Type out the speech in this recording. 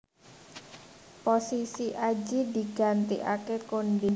Posisi Adjie digantikaké Konde